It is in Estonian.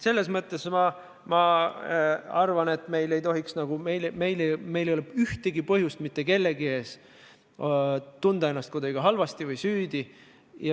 Selles mõttes ma arvan, et meil ei tohiks olla ühtegi põhjust mitte kellegi ees tunda ennast kuidagi halvasti või süüdi.